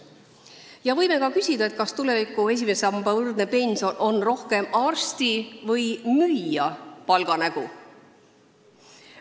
Samas võime ka küsida, kas tuleviku esimese samba võrdne pension on rohkem arsti või müüja palga nägu.